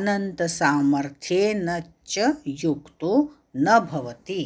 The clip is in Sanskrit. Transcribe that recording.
अनन्तसामर्थ्येन च युक्तो न भवति